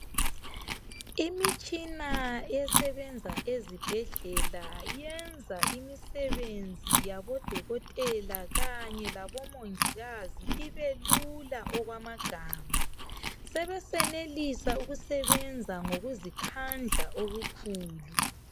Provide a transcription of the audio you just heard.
Imitshina esebenza ezibhedlela yenza imisebenzi yabodokotela kanye labomongikazi ibe lula okwamagama, sebesenelisa ukusebenza ngokuzikhandla okukhulu.